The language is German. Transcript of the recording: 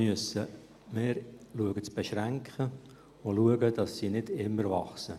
Wir müssen schauen, dass wir die Ausgaben einschränken können, und schauen, dass sie nicht immer weiterwachsen.